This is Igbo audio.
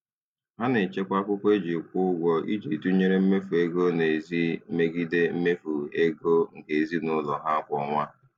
Ha na-echekwa akwụkwọ e ji kwụ ụgwọ iji tụnyere mmefu ego n'ezie megide mmefu ego nke ezinụụlọ ha kwa ọnwa.